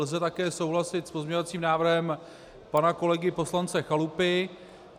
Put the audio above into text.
Lze také souhlasit s pozměňovacím návrhem pana kolegy poslance Chalupy.